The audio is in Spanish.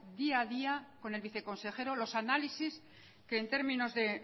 día a día con el viceconsejero los análisis que en términos de